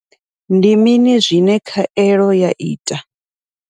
Ndi mini zwine khaelo ya ita.